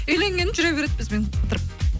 үйленген жүре береді бізбен қыдырып